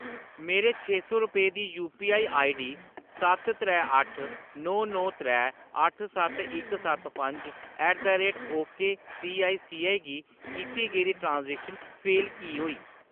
मेरी छे सौ रपेऽ दी यूपीआई आईडी सत्त त्रै अट्ठ नौ नौ त्रै अट्ठ सत्त इक सत्त पंज ऐट द रेट ओकेसीआईसीआई गी कीती गेदी ट्रांज़ैक्शन फेल की होई?